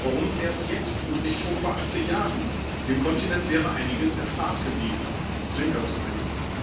Warum erst jetzt und nicht schon vor 80 Jahren? Dem Kontinent wäre einiges erspart geblieben Zwinkersmiley.